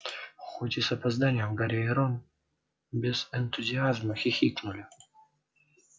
хоть и с опозданием гарри и рон без энтузиазма хихикнули